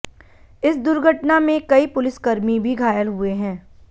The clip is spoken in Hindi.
इस दुर्घटना में कई पुलिसकर्मी भी घायल हुये हैं